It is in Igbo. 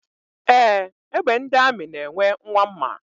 Ee, egbe ndị amị na-enwe nwa mma.